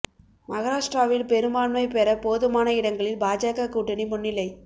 மகாராஷ்டிராவில் பெரும்பான்மை பெற போதுமான இடங்களில் பாஜக கூட்டணி முன்னிலை